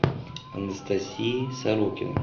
анастасии сорокиной